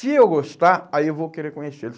Se eu gostar, aí eu vou querer conhecê-lo.